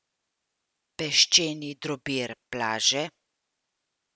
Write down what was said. Peščeni drobir plaže?